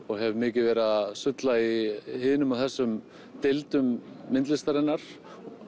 og hef mikið verið að sulla í hinum og þessum deildum myndlistarinnar